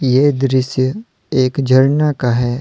ये दृश्य एक झरना का है।